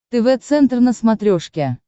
тв центр на смотрешке